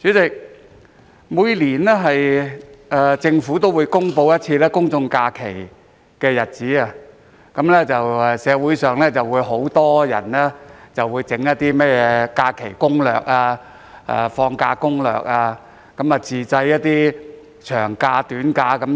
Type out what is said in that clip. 代理主席，政府每年都會公布公眾假期的日子，很多人便會創作假期攻略或放假攻略，並建議如何自製長假、短假等。